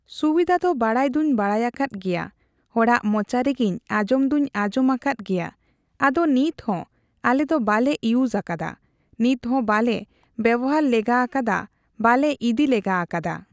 ᱥᱩᱵᱤᱫᱟ ᱫᱚ ᱵᱟᱲᱟᱭ ᱫᱩᱧ ᱵᱟᱲᱟᱭ ᱟᱠᱟᱫ ᱜᱮᱭᱟ ᱦᱚᱲᱟᱜ ᱢᱚᱪᱟ ᱨᱮᱜᱮᱤᱧ ᱟᱡᱚᱢ ᱫᱩᱧ ᱟᱡᱚᱢ ᱟᱠᱟᱫ ᱜᱮᱭᱟ ᱟᱫᱚ ᱱᱤᱛᱦᱚ ᱟᱞᱮ ᱫᱚ ᱵᱟᱞᱮ ᱤᱩᱡ ᱟᱠᱟᱫᱟ ᱱᱤᱛᱦᱚ ᱵᱟᱞᱮ ᱵᱮᱵᱚᱦᱟᱨ ᱞᱮᱜᱟ ᱟᱠᱟᱫᱟ ᱵᱟᱞᱮ ᱤᱫᱤ ᱞᱮᱜᱟ ᱟᱠᱟᱫᱟ